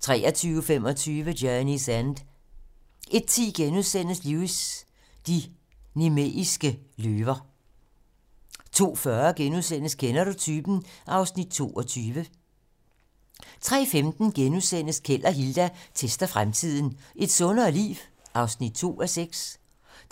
23:25: Journey's End 01:10: Lewis: De nemeiske løver * 02:40: Kender du typen? (Afs. 22)* 03:15: Keld og Hilda tester fremtiden - Et sundere liv? (2:6)*